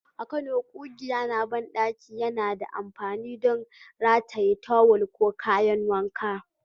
A Kano, ƙugiya na banɗaki yana da amfani don rataye tawul ko kayan wanka.